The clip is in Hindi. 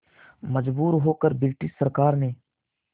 मजबूर होकर ब्रिटिश सरकार ने